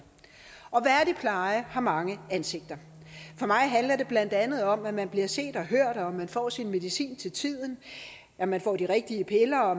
og værdig pleje har mange ansigter for mig handler det blandt andet om at man bliver set og hørt at man får sin medicin til tiden at man får de rigtige piller og